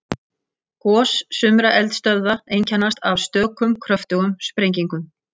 Gos sumra eldstöðva einkennast af stökum kröftugum sprengingum.